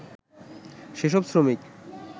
যেসব শ্রমিক